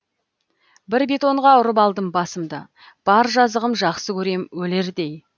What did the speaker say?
бір бетонға ұрып алдым басымды бар жазығым жақсы көрем өлердей